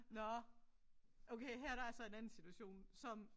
Nåh okay her der er så en anden situation som